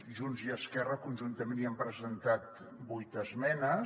junts i esquerra conjuntament hi hem presentat vuit esmenes